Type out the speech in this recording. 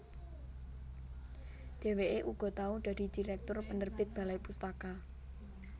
Dhèwèké uga tau dadi direktur penerbit Balai Pustaka